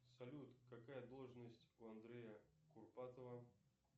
салют какая должность у андрея курпатова